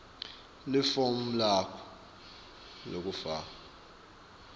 lifomu lakho lekufaka